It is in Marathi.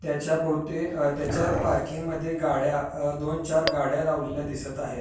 त्याच्या भोवती आ त्याच्या पार्किंग मध्ये गाड्या अ दोन चार गाड्या लावलेल्या दिसत आहेत.